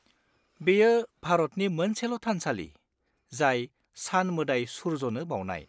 बेयो भारतनि मोनसेल' थानसालि, जाय सान-मोदाय सुर्यनो बावनाय।